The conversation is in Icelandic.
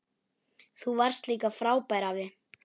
Þú varst líka frábær afi.